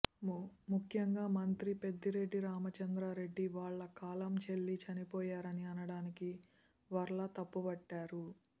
ముఖ్యంగా మంత్రి పెద్దిరెడ్డి రామచంద్ర రెడ్డి వాళ్లు కాలం చెల్లి చనిపోయారని అనడాన్ని వర్ల తప్పుబట్టారు